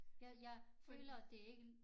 Jeg jeg føler at det ikke